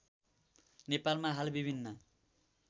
नेपालमा हाल विभिन्न